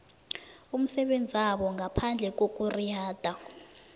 umsebenzabo ngaphandle kokuriyada